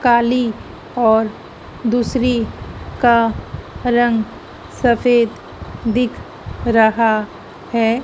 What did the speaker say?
काली और दूसरी का रंग सफेद दिख रहा है।